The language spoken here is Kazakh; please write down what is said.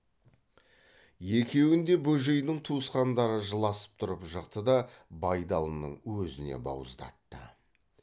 екеуін де бөжейдің туысқандары жыласып тұрып жықты да байдалының өзіне бауыздатты